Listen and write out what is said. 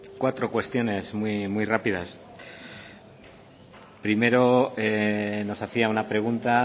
cuatro cuestiones muy rápidas primero nos hacía una pregunta